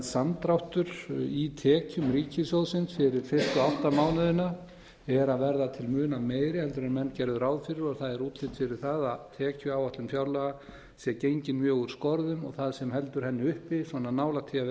samdráttur í tekjum ríkissjóðsins fyrir fyrstu átta mánuðina er að verða til muna meiri heldur en menn gerðu ráð fyrir og það er útlit fyrir það að tekjuáætlun fjárlaga sé gengin mjög úr skorðum og það sem heldur henni uppi svona nálægt því